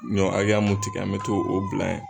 Ɲɔ akɛya mun tigɛ an be t'o bila yen